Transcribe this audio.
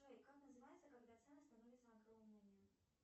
джой как называется когда цены становятся огромными